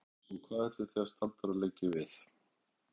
Hjördís: Og ætlið þið að staldra lengi við?